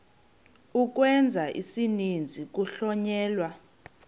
ukwenza isininzi kuhlonyelwa